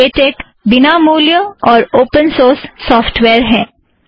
LaTeX बिना मूल्य और ओपन सोर्स सॉफ़्टवेयर है